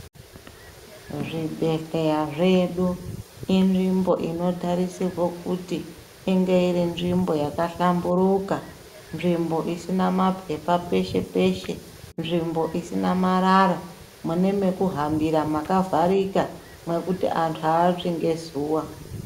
Zvibhedhleya zvedu ,inzvimbo inotarisirwe kuti, inge iri nzvimbo yakahlamburuka, nzvimbo isina maphepha peshe-peshe, nzvimbo isina marara, mune mekuhambira makavharika, mwekuti anhu aatsvi ngezuwa.